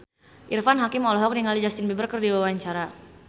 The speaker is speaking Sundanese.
Irfan Hakim olohok ningali Justin Beiber keur diwawancara